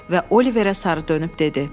və Oliverə sarı dönüb dedi.